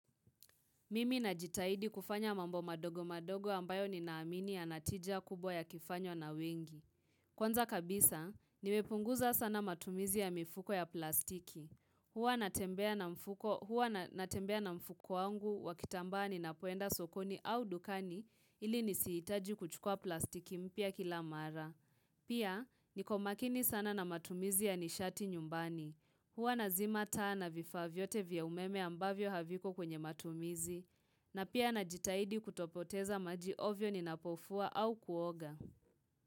Mimi na jitahidi kufanya mambo madogo madogo ambayo ninaamini ya natija kubwa yakifanywa na wengi. Kwanza kabisa, nimepunguza sana matumizi ya mifuko ya plastiki. Huwa natembea na mfuko wangu wakitamba ninapoenda sokoni au dukani ili nisihitaji kuchukua plastiki mpia kila mara. Pia, niko makini sana na matumizi ya nishati nyumbani. Huwa nazima taa na vifaa vyote vya umeme ambavyo haviko kwenye matumizi, na pia na jitaidi kutopoteza maji ovyo ni napofua au kuoga.